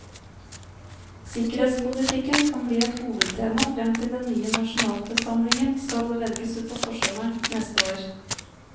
Sikkerhetspolitikken kan bli et hovedtema frem til den nye nasjonalforsamlingen skal velges utpå forsommeren neste år.